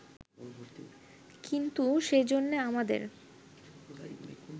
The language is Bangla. কিন্তু সেজন্যে আমাদের